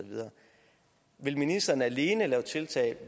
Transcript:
vil ministeren alene lave tiltag